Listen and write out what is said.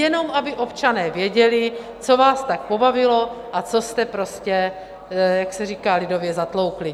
Jenom aby občané věděli, co vás tak pobavilo a co jste prostě, jak se říká lidově, zatloukli.